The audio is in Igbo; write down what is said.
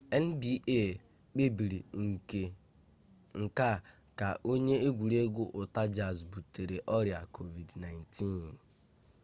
nba kpebiri nke a ka onye egwuregwu utah jazz butere ọrịa covid-19